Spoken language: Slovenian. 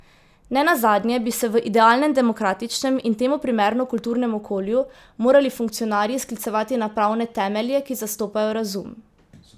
Nenazadnje bi se v idealnem demokratičnem in temu primerno kulturnem okolju morali funkcionarji sklicevati na pravne temelje, ki zastopajo razum.